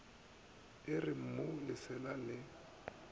e re mmu lesea le